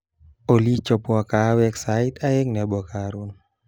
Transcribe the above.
Olly chapwo kahawek sait aeng nebo karon